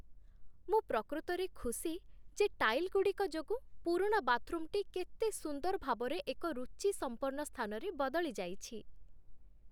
ମୁଁ ପ୍ରକୃତରେ ଖୁସି ଯେ ଟାଇଲ୍ ଗୁଡ଼ିକ ଯୋଗୁଁ ପୁରୁଣା ବାଥରୁମଟି କେତେ ସୁନ୍ଦର ଭାବରେ ଏକ ରୁଚିସମ୍ପନ୍ନ ସ୍ଥାନରେ ବଦଳି ଯାଇଛି